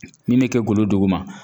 Min bɛ kɛ golo duguma